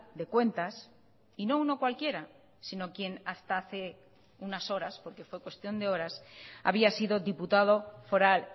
de cuentas y no uno cualquiera sino quien hasta hace unas horas porque fue cuestión de horas había sido diputado foral